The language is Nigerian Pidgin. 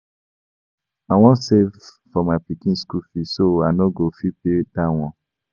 I wan save for my pikin school fees so I no go fit pay dat one